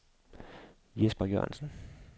Jesper Jørgensen